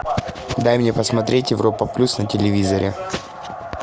дай мне посмотреть европа плюс на телевизоре